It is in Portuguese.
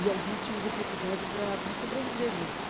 E alguns tinham dificuldade para para sobreviver mesmo.